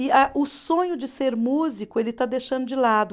E a o sonho de ser músico, ele está deixando de lado.